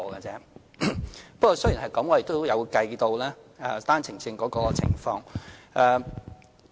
儘管如此，我們仍有計算單程證的情況。